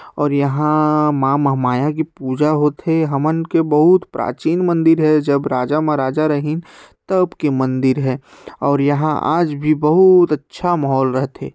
और यहां मां महामाया की पूजा होथे हमन के बहुत प्राचीन मंदिर हे जब राजा महाराजा रहीन तब के मंदिर हे और यहां आज भी बहुत अच्छा माहौल रहथे।